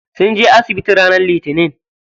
Sun je asibiti ranar litinin.